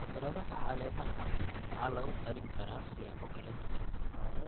Khudradaha caleemaha waxaa lagu karin karaa siyaabo kala duwan.